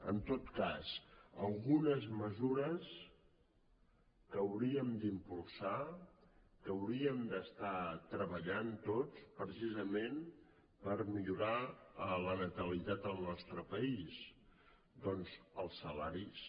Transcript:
en tot cas algunes mesures que hauríem d’impulsar que hauríem d’estar treballant tots precisament per millorar la natalitat en el nostre país doncs els salaris